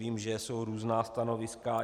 Vím, že jsou různá stanoviska.